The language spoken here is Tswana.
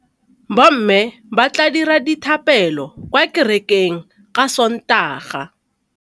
Bommê ba tla dira dithapêlô kwa kerekeng ka Sontaga.